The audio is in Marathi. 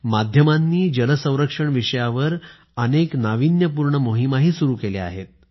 माध्यमांनी जल संरक्षणविषयावर अनेक नाविन्यपूर्ण मोहिमा सुरु केल्या आहेत